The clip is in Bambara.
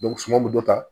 suma bɛ dɔ ta